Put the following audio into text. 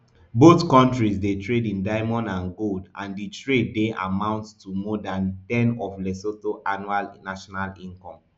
both kontris dey trade in diamond and gold and di trade dey amount to more dan ten of lesotho annual national income